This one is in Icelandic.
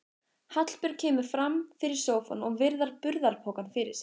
Hallbjörg kemur fram fyrir sófann og virðir burðarpokann fyrir sér.